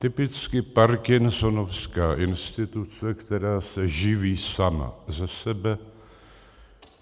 Typicky parkinsonovská instituce, která se živí sama ze sebe.